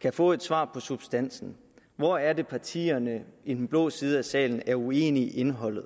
kan få et svar substansen hvor er det partierne i den blå side af salen er uenige i indholdet